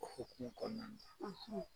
O hukumu kɔnɔna na.